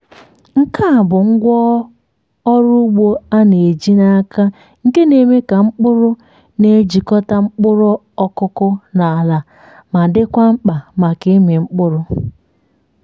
nke a bụ ngwá ọrụ ugbo a na-eji n’aka nke na-eme ka mkpụrụ na-ejikọta mkpụrụ ọkụkụ na ala ma dịkwa mkpa maka ịmị mkpụrụ.